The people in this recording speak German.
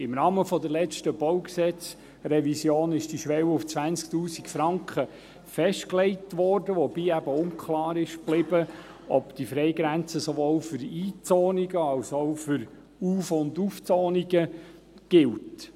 Im Rahmen der letzten BauG-Revision wurde diese Schwelle auf 20 000 Franken festgelegt, wobei unklar blieb, ob diese Freigrenze sowohl für Einzonungen als auch für Auf- und Umzonungen gilt.